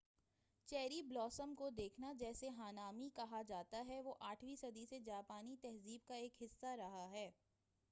cherry blossom کو دیکھنا جسے ہانامی کہا جاتا ہے وہ آٹھویں صدی سے جاپانی تہذیب کا ایک حِصّہ رہا ہے